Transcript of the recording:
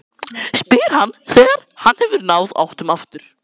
spyr hann þegar hann hefur náð áttum aftur.